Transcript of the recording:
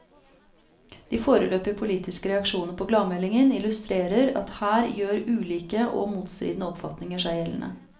De foreløpige politiske reaksjoner på gladmeldingen illustrerer at her gjør ulike og motstridende oppfatninger seg gjeldende.